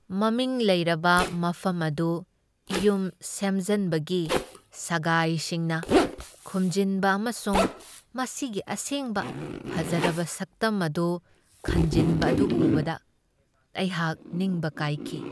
ꯃꯃꯤꯡ ꯂꯩꯔꯕ ꯃꯐꯝ ꯑꯗꯨ ꯌꯨꯝ ꯁꯦꯝꯖꯟꯕꯒꯤ ꯁꯒꯥꯏꯁꯤꯡꯅ ꯈꯨꯝꯖꯤꯟꯕ ꯑꯃꯁꯨꯡ ꯃꯁꯤꯒꯤ ꯑꯁꯦꯡꯕ ꯐꯖꯔꯕ ꯁꯛꯇꯝ ꯑꯗꯨ ꯈꯟꯖꯤꯟꯕ ꯑꯗꯨ ꯎꯕꯕ ꯑꯩꯍꯥꯛ ꯅꯤꯡꯕ ꯀꯥꯏꯈꯤ ꯫